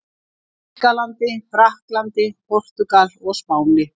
Þýskalandi, Frakklandi, Portúgal og Spáni.